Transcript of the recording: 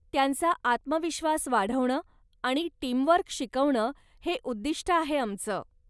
त्यांचा आत्मविश्वास वाढवणं आणि टीमवर्क शिकवणं हे उद्दिष्ट आहे आमचं.